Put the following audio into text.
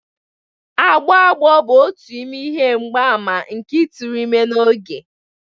Agbọ agbọ bụ otu n'ime ihe mgbaàmà nke ịtụrụ ime n'oge.